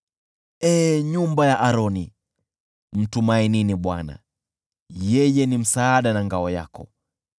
Ee nyumba ya Aroni, mtumainini Bwana , yeye ni msaada na ngao yao.